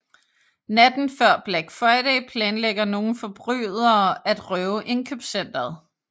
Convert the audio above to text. Natten før Black Friday planlægger nogle forbrydere at røve indkøbscenteret